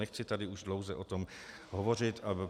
Nechci tady už dlouze o tom hovořit.